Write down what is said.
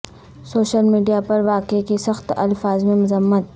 social media پر واقعے کی سخت الفاظ میں مذمت